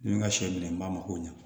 Ni n ka sɛ minɛ n b'a ma ko ɲɛ